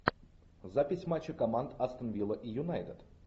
запись матча команд астон вилла и юнайтед